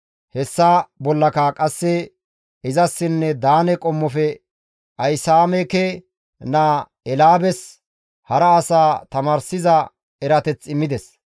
Hessa bollaka qasse izassinne Daane qommofe Ahisaameke naa Eelaabes, hara as tamaarssiza erateth immides.